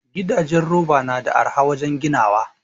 Gidajen roba nada arha wajan ginawa